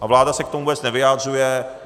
A vláda se k tomu vůbec nevyjadřuje.